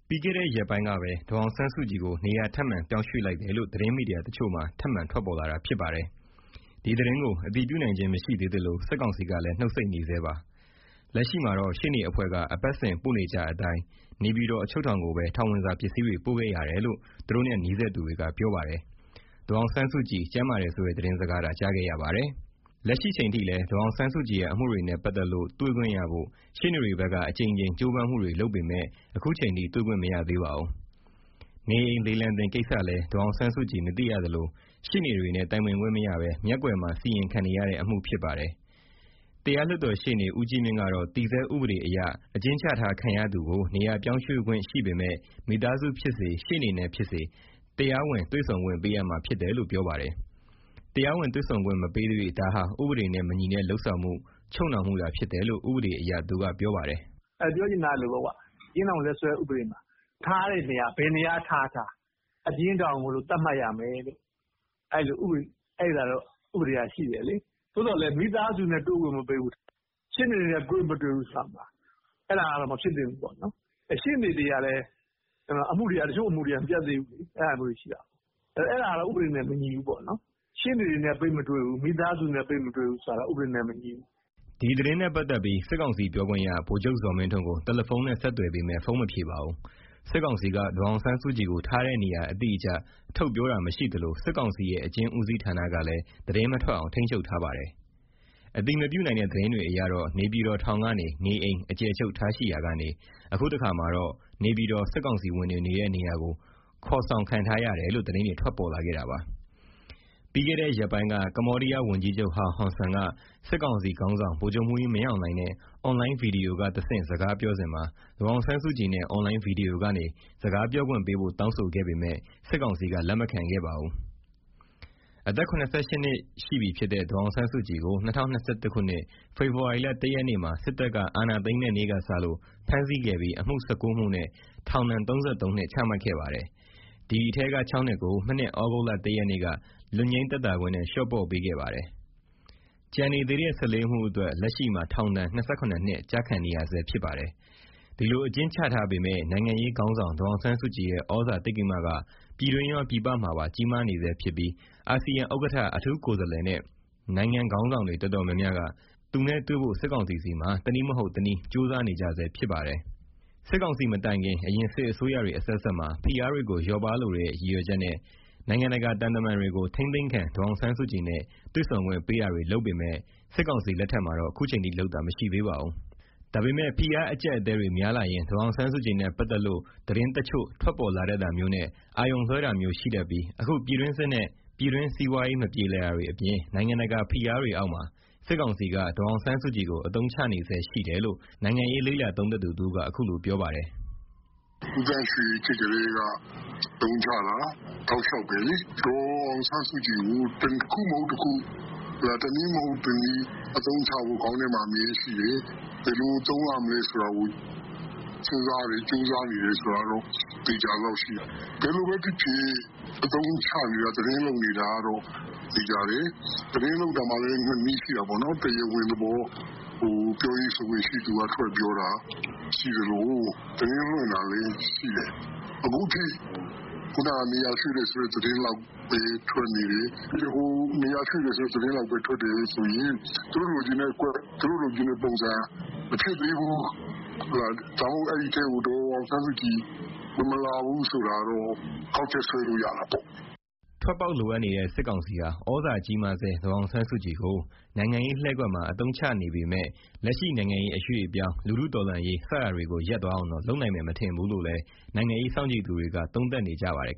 ပြီးခဲ့တဲ့ ရက်ပိုင်းကပဲ ဒေါ်အောင်ဆန်းစုကြည်ကို နေရာထပ်မံ ပြောင်းရွှေ့လိုက်တယ်လို့ သတင်းမီဒီယာတချို့မှာ သတင်း ထပ်မံ ထွက်ပေါ်လာတာဖြစ်ပါတယ်။ ဒီသတင်းကို အတည်ပြုနိုင်ခြင်း မရှိသေးသလို စစ်ကောင်စီကလည်း နှုတ်ဆိတ် နေဆဲပါ။ လက်ရှိမှာတော့ ရှေ့နေအဖွဲ့က အပတ်စဉ် ပို့နေကျအတိုင်း နေပြည်တော် အချုပ်ထောင်ကိုပဲ ထောင်ဝင်စာ ပစ္စည်းတွေ ပို့ခဲ့ရတယ်လို့ သူတို့နဲ့ နီးစပ်သူတွေက ပြောပါတယ်။ ဒေါ်အောင်ဆန်းစုကြည် ကျန်းမာတယ်ဆိုတဲ့ သတင်းစကားသာ ကြားခဲ့ရပါတယ်။ လက်ရှိအချိန်ထိလည်း ဒေါ်အောင်ဆန်းစုကြည်ရဲ့ အမှုတွေနဲ့ပတ်သတ်လို့ တွေ့ခွင့်ရဖို့ ရှေ့နေတွေဘက်က အကြိမ်ကြိမ် ကြိုးပမ်းမှုတွေ လုပ်ပေမယ့် ခုချိန်ထိ တွေ့ခွင့်မရသေးပါဘူး။ နေအိမ် လေလံတင်ကိစ္စလည်း ဒေါ်အောင်ဆန်းစုကြည် မသိရသလို၊ ရှေ့နေတွေနဲ့ တိုင်ပင်ခွင့် မရပဲ မျက်ကွယ်မှာ စီရင်ခံနေရတဲ့အမှု ဖြစ်ပါတယ်။ တရားလွှတ်တော်ရှေ့နေ ဦးကြီးမြင့်ကတော့ တည်ဆဲဥပဒေအရ အကျဉ်းချထားခံရသူကို နေရာ ပြောင်းရွှေ့ခွင့် ရှိပေမယ့် မိသားစုဖြစ်စေ ရှေ့နေနဲ့ဖြစ်စေ တရားဝင် တွေ့ဆုံခွင့်ပေးရမှာ ဖြစ်တယ်လို့ပြောပါတယ်။ တရားဝင် တွေ့ဆုံခွင့်မပေးသရွေ့ ဒါဟာ ဥပဒေနဲ့မညီတဲ့ လုပ်ဆောင်မှု ချုပ်နှောင်မှုသာ ဖြစ်တယ်လို့ ဥပဒေအရ သူကပြောပါတယ်။ " ပြောချင်တာကတော့ အကျဉ်းထောင် လက်စွဲဥပဒေမှာ ထားတဲ့နေရာ ဘယ်နေရာထားထား။ အကျဉ်းထောင်လို့သတ်မှတ်ရမယ်လို့ အဲဒါတော့ ဥပဒေအရ ရှိတယ်လေ။ ဒါပေမယ့် မိသားစုနဲ့တွေ့ခွင့်မပေးဘူး။ ရှေ့နေတွေနဲ့ တွေ့ခွင့်မပေးဘူး ဆိုတာကျတော့ အဲဒါကတော့ မဖြစ်သင့်ဘူးပေါ့နော် ၊ ရှေ့နေတွေကလည်း တချို့အမှုတွေက မပြတ်သေးဘူးလေ ဒါတွေရှိတယ်။ အဲဒါကျတော့ ဥပဒေနဲ့မညီဘူးလေ။ ရှေ့နေတွေနဲ့ တွေ့ခွင့်မပေးတာ မိသားစုနဲ့ တွေ့ခွင့် မပေးတာကျတော့ ဥပဒေနဲ့ လုံးဝ မညီဘူးပေါ့လေ။ " ဒီသတင်းနဲ့ပတ်သက်ပြီး စစ်ကောင်စီပြောခွင့်ရ ဗိုလ်ချုပ်ဇော်မင်းထွန်းကို တယ်လီဖုန်းနဲ့ ဆက်သွယ်ပေမဲ့ ဖုန်းမဖြေပါဘူး။ စစ်ကောင်စီက ဒေါ်အောင်ဆန်းစုကြည်ကိုထားတဲ့နေရာ အတိအကျ ထုတ်ပြောတာ မရှိသလို စစ်ကောင်စီရဲ့ အကျဉ်းဦးစီးဌာနကလည်း သတင်း မထွက်အောင် ထိန်းချုပ်ထားပါတယ်။ အတည်မပြုနိုင်တဲ့ သတင်းတွေအရတော့ နေပြည်တော်ထောင်ကနေ နေအိမ်အကျယ်ချုပ် ထားရှိရာကနေ ခုတခါမှာတော့ နေပြည်တော် စစ်ကောင်စီ ဝင်တွေနေတဲ့ နေရာကို ခေါ်ဆောင်ခံထားရတယ်လို့ သတင်းတွေ ထွက်ပေါ်လာခဲ့တာပါ။ ပြီးခဲ့တဲ့ရက်ပိုင်းက ကမ္ဘောဒီယားဝန်ကြီးချုပ်ဟောင်း ဟွန်ဆန်က စစ်ကောင်စီခေါင်းဆောင် ဗိုလ်ချုပ်မှူးကြီး မင်းအောင်လှိုင်နဲ့ အွန်လိုင်း ဗီဒီယိုကတဆင့် စကားပြောစဉ်မှာ ဒေါ်အောင်ဆန်းစုကြည်နဲ့ အွန်လိုင်းဗီဒီယိုကနေ စကားပြောခွင့်ပေးဖို့ တောင်းဆိုခဲ့ပေမယ့် စစ်ကောင်စီက လက်မခံခဲ့ပါဘူး။ အသက် ၇၈ နှစ် ရှိပြီဖြစ်တဲ့ ဒေါ်အောင်ဆန်းစုကြည်ကို ၂၀၂၁ ခုနှစ် ဖေဖော်ဝါရီလ ၁ ရက်နေ့မှာ စစ်တပ်အာဏာသိမ်းတဲ့ နေ့ကစလို့ ဖမ်းဆီးခဲ့ပြီး အမှု ၁၉ မှုနဲ့ ထောင်ဒဏ် ၃၃ နှစ် ချမှတ်ခဲ့ပါတယ်။ ဒီအထဲက ၆ နှစ်ကို မနှစ် သြဂုတ်လ ၁ ရက်နေ့က လွတ်ငြိမ်းသက်သာခွင့်နဲ့ လျှော့ပေါ့ ပေးခဲ့ပါတယ်။ ကျန်နေသေးတဲ့ ၁၄ မှုအတွက် လက်ရှိမှာ ထောင်ဒဏ် ၂၇ နှစ် ကျခံနေရဆဲဖြစ်ပါတယ်။ ဒီလို အကျဉ်းချထားပေမယ့် နိုင်ငံရေးခေါင်းဆောင် ဒေါ်အောင်ဆန်းစုကြည်ရဲ့ သြဇာ တက္ကိမက ပြည်တွင်းရော ပြည်ပမှာပါ ကြီးမားနေဆဲဖြစ်ပြီး အာဆီယံဥက္ကဌ အထူးကိုယ်စားလှယ်နဲ့ နိုင်ငံ့ခေါင်းဆောင်တွေ တော်တော်များများက သူနဲ့တွေ့ဖို့ စစ်ကောင်စီဆီမှာ တနည်းမဟုတ်တနည်း ကြိုးစားနေကြဆဲဖြစ်ပါတယ်။ စစ်ကောင်စီ မတိုင်ခင် အရင် စစ်အစိုးရတွေ အဆက်ဆက်မှာ ဖိအားတွေကို လျော့ပါးလိုတဲ့ ရည်ရွယ်ချက်နဲ့ နိုင်ငံတကာ သံတမန်တွေကို ထိန်းသိမ်းခံ ဒေါ်အောင်ဆန်းစုကြည်နဲ့ တွေ့ဆုံခွင့်ပေးတာတွေ လုပ်ခဲ့ပေမယ့် လက်ရှိစစ်ကောင်စီလက်ထက်မှာတော့ ခုချိန်ထိ တွေ့ခွင့်ပေးတာ မရှိသေးပါဘူး။ ဒါပေမဲ့ ဖိအား အကျပ်အတည်းတွေ များလာရင် ဒေါ်အောင်ဆန်းစုကြည်နဲ့ပတ်သတ်လို့ သတင်းတချို့ ထွက်ပေါ်လာတတ်တာမျိုးနဲ့ အာရုံလွှဲတာမျိုး ရှိတတ်ပြီး အခု ပြည်တွင်းစစ်နဲ့ ပြည်သူတွေ စီးပွါးမပြေလည်တာအပြင် နိုင်ငံတကာ ဖိအားတွေ အောက်မှာ စစ်ကောင်စီက ဒေါ်အောင်ဆန်းစုကြည်ကို အသုံးချနေဆဲရှိတယ်လို့ နိုင်ငံရေးလေ့လာသုံးသပ်သူတဦးက ခုလိုပြောပါတယ်။ " ဦးသန်းရွှေ လက်ထက်ထဲက အသုံးချလာတာ။ တောက်လျှောက်ပဲလေ။ ဒေါ်အောင်ဆန်းစုကြည်ကို တခုမဟုတ်တခု တနည်းမဟုတ်တနည်း အသုံးချဖို့ ခေါင်းထဲမှာ အမြဲရှိကြတယ်။ ဘယ်လို သုံးရမလဲဆိုတာကို စဉ်းစားနေ ကြိုးစားနေတာတော့ သေချာသလောက် ရှိတာပေါ့။ ဘယ်လိုပဲဖြစ်ဖြစ် အသုံးချ သတင်းလုပ်နေတာတော့ သေချာတယ်။ သတင်းလုပ်တာမှာ ၂ နည်းရှိတယ်။ တရားဝင်သဘောနဲ့ ပြောရေးဆိုခွင့်ရှိသူက ထွက်ပြောတာရှိသလို သတင်းလွှင့်တာလည်း ရှိတယ်။ ခုထိ နေရာရွှေ့တယ်ဆိုတဲ့ သတင်းလောက်ပဲ သတင်းထွက်နေတယ်။ နေရာရွှေ့သလောက်ပဲ သတင်း ထွက်နေတယ်ဆိုရင် သူတို့လိုချင်တဲ့အကွက် လိုချင်တဲ့ပုံစံ မဖြစ်သေးဘူး အဲ့ထဲကို ဒေါ်အောင်ဆန်းစုကြည် ဝင်မလာဘူးဆိုတာ ကောက်ချက်ဆွဲလို့ရတာပေါ့။ " ထွက်ပေါက် လိုအပ်နေတဲ့ စစ်ကောင်စီဟာ သြဇာကြီးမားဆဲ ဒေါ်အောင်ဆန်းစုကြည်ကို နိုင်ငံရေးလှည့်ကွက်မှာ အသုံးချနေပေမယ့် လက်ရှိ နိုင်ငံရေး အရွှေ့အပြောင်း လူထုတော်လှန်ရေး စတာတွေကို ရပ်တန့်သွားအောင်တော့ လုပ်နိုင်မယ် မထင်ဘူးလို့လည်း နိုင်ငံရေး စောင့်ကြည့်လေ့လာသူတွေက သုံးသပ်နေကြပါတယ်